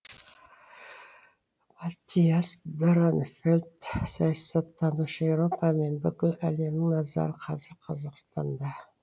маттиас дорнфельдт саясаттанушы еуропа мен бүкіл әлемнің назары қазір қазақстанда